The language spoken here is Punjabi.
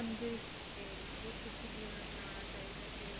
ਤੇ ਗੁਰ ਸਿੱਖੀ ਜੀਵਨ ਅਪਣਾਉਣਾ ਚਾਹੀਦਾ